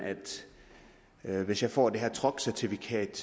ved hvis jeg får det her truckcertifikat